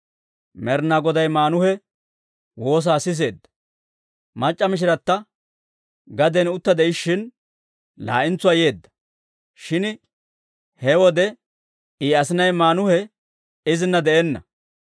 Med'inaa Goday Maanuhe woosaa siseedda. Mac'c'a mishirata gaden utta de'ishshin laa'entsuwaa yeedda; shin he wode I asinay Maanuhe izina de'enna.